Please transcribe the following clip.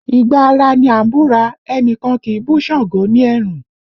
Ìgbà ara ní a ń búra, ẹnikan ki í bú Sango ní ẹ̀rùn